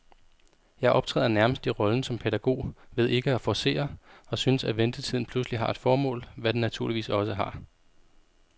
Jeg optræder nærmest i rollen som pædagog ved ikke at forcere, og synes, at ventetiden pludselig har et formål, hvad den naturligvis også har.